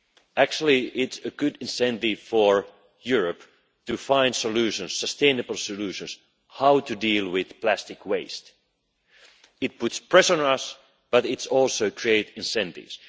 It's actually a good incentive for Europe to find solutions, sustainable solutions. How to deal with plastic waste. It puts pressure on us, but it also create incentives.